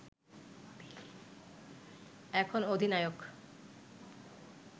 এখন অধিনায়ক